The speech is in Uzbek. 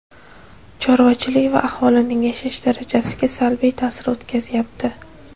chorvachilik va aholining yashash darajasiga salbiy ta’sir o‘tkazyapti.